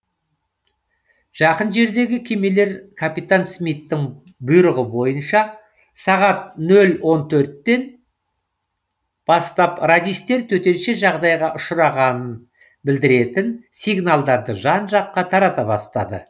жақын жердегі кемелер капитан смиттің бұйрығы бойынша сағат нөл он төрттен бастап радистер төтенше жағдайға ұшырағанын білдіретін сигналдарды жан жаққа тарата бастады